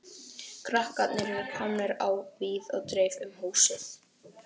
Krakkarnir eru komnir á víð og dreif um húsið.